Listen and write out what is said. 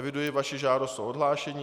Eviduji vaši žádost o odhlášení.